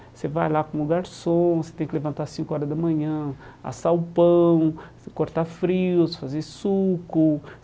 Você vai lá como garçom, você tem que levantar cinco horas da manhã, assar o pão, cortar frios, fazer suco.